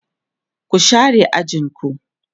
ku share ajinku!